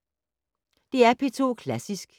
DR P2 Klassisk